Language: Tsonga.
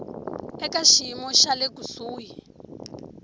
eka xiyimo xa le kusuhi